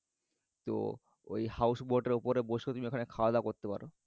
তো ঐ house boat এর উপর বসেও তুমি খাওয়া দাওয়া করতে পারবে।